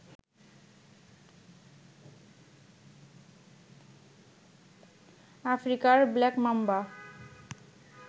আফ্রিকার black mamba